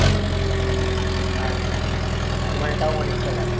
সময়টা অনেকটা লাগবে,